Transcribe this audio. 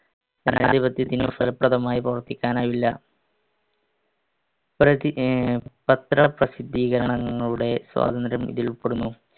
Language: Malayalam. ജനാധിപത്യത്തിന് ഫലപ്രദമായി പ്രവർത്തിക്കാനാവില്ല. പ്രതി~ പത്രപ്രസിദ്ധീകരണങ്ങളുടെ സ്വാതന്ത്ര്യം ഇതിൽപ്പെടുന്നു